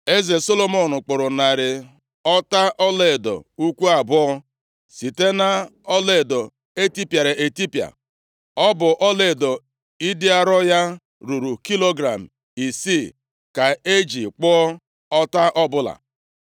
Eze Solomọn kpụrụ narị ọta ọlaedo ukwu abụọ site nʼọlaedo etipịara etipịa. Ọ bụ ọlaedo ịdị arọ ya ruru kilogram isii ka e ji kpụọ ọta ọbụla.